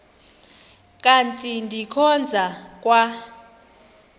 kanti ndikhonza kwa